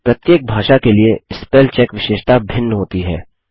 प्रत्येक भाषा के लिए स्पेल चेक विशेषता भिन्न होती है